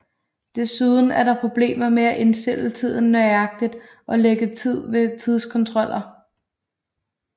Desuden er der problemer med at indstille tiden nøjagtigt og lægge tid til ved tidskontroller